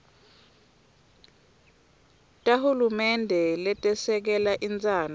tahulumende letesekela intsandvo